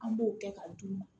An b'o kɛ ka d'u ma